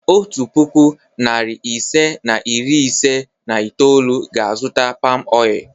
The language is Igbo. Otu puku, narị ise na iri ise na itoolu ga-azụta palmoil.